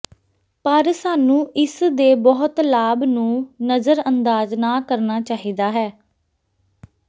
ਪਰ ਸਾਨੂੰ ਇਸ ਦੇ ਬਹੁਤ ਲਾਭ ਨੂੰ ਨਜਰਅੰਦਾਜ ਨਾ ਕਰਨਾ ਚਾਹੀਦਾ ਹੈ